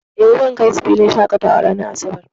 Eh, zan kai su filin shaƙatawa ranar asabar.